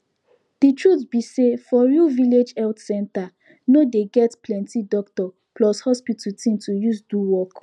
de truth be sayfor real village health center no dey get plenti doctor plus hospital thing to use do work